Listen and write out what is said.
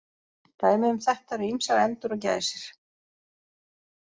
Dæmi um þetta eru ýmsar endur og gæsir.